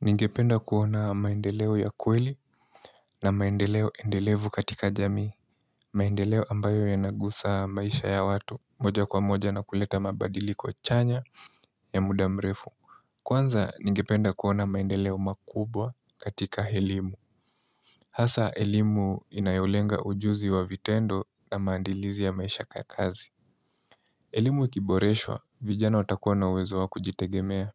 Ningependa kuona maendeleo ya kweli na maendeleo endelevu katika jamii maendeleo ambayo yanagusa maisha ya watu moja kwa moja na kuleta mabadili chanya ya muda mrefu Kwanza ningependa kuona maendeleo makubwa katika elimu Hasa elimu inayolenga ujuzi wa vitendo na maandilizi ya maisha ya kazi elimu ikiboreswa, vijana watakuwa na uwezo wa kujitegemea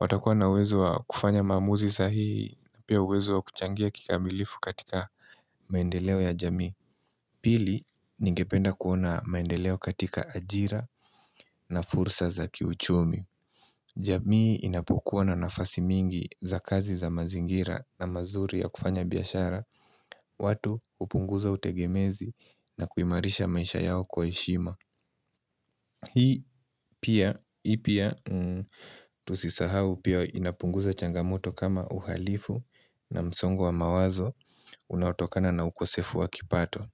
watakuwa na uwezo wa kufanya maamuzi sahihi na pia uwezo wa kuchangia kikamilifu katika maendeleo ya jamii Pili ningependa kuona maendeleo katika ajira na fursa za kiuchumi jamii inapokuwa na nafasi mingi za kazi za mazingira na mazuri ya kufanya biashara watu hupunguza utegemezi na kuimarisha maisha yao kwa heshima Hii pia tusisahau pia inapunguza changamoto kama uhalifu na msongo wa mawazo unaotokana na ukosefu wakipato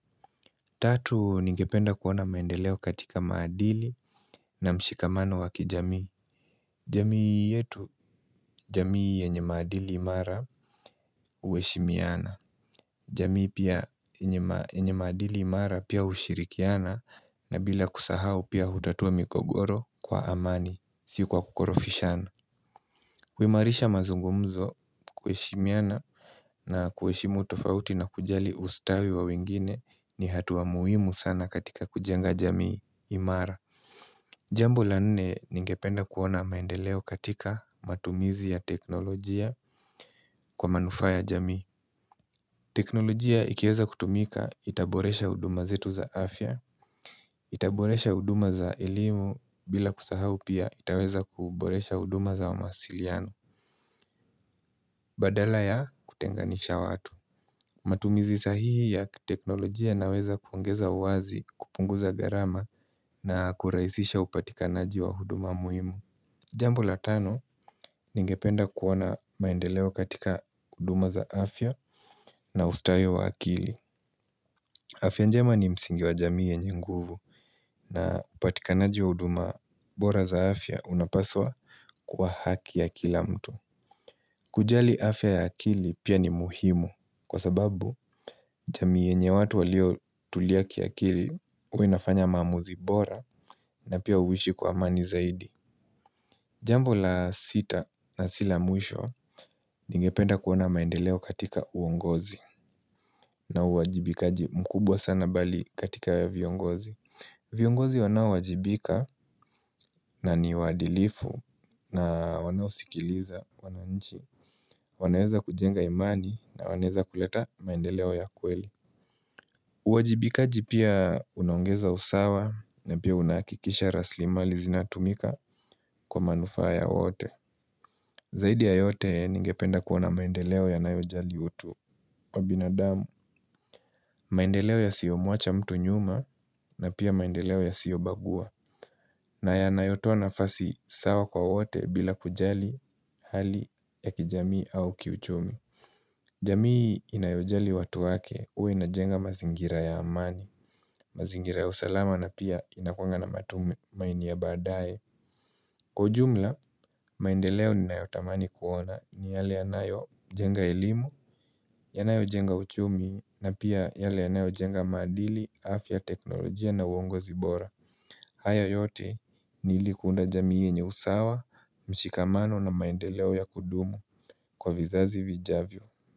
Tatu ningependa kuona maendeleo katika madili na mshikamano wa kijamii jamii yetu jamii yenye madili imara huheshimiana jamii pia yenye madili imara pia hushirikiana na bila kusahau pia hutatua migogoro kwa amani Si kwa kukorofishana kuimarisha mazungumzo kuheshimiana na kuheshimu tofauti na kujali ustawi wa wengine ni hatua muhimu sana katika kujenga jamii imara Jambo la nne ningependa kuona maendeleo katika matumizi ya teknolojia kwa manufaa ya jamii teknolojia ikiweza kutumika itaboresha huduma zetu za afya Itaboresha huduma za elimu bila kusahau pia itaweza kuboresha huduma za mawasiliano Badala ya kutenganisha watu. Matumizi sahihi ya kiteknolojia inaweza kuongeza uwazi kupunguza gharama na kurahisisha upatikanaji wa huduma muhimu. Jambo la tano ningependa kuona maendeleo katika huduma za afya na ustawi wa akili. Afya njema ni msingi wa jamii yenye nguvu na upatikanaji wa huduma bora za afya unapaswa kuwa haki ya kila mtu. Kujali afya ya akili pia ni muhimu kwa sababu jamii yenye watu walio tulia kiakili huwa inafanya maamuzi bora na pia huishi kwa amani zaidi Jambo la sita na sila mwisho ningependa kuona maendeleo katika uongozi na uwajibikaji mkubwa sana bali katika ya viongozi viongozi wanaowajibika na ni waadilifu na wanaosikiliza wananchi wanaweza kujenga imani na wanaweza kuleta maendeleo ya kweli uwajibikaji pia unaongeza usawa na pia unakikisha raslimali zinatumika kwa manufaa ya wote Zaidi ya yote ningependa kuona maendeleo yanayojali utu wa binadamu, maendeleo ya siyo muacha mtu nyuma na pia maendeleo ya siyo bagua na yanayotoa nafasi sawa kwa wote bila kujali hali ya kijamii au kiuchumi jamii inayojali watu wake huwa inajenga mazingira ya amani, mazingira ya usalama na pia inakuanga na matumamaini ya badaye kwa ujumla, maendeleo ninayotamani kuona ni yale yanayojenga elimu, yanayo jenga uchumi na pia yale yanayo jenga madili, afya teknolojia na uongozi bora haya yote ni ili kuunda jamii yenye usawa, mshikamano na maendeleo ya kudumu kwa vizazi vijavyo.